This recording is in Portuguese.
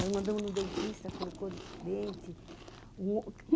Nós mandamos no dentista, colocou dente. Um